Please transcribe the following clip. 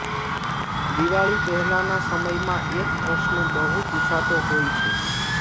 દિવાળી પહેલાંના સમયમાં એક પ્રશ્ન બહુ પુછાતો હોય છે